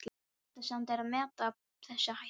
Vandasamt er að meta þessa hættu.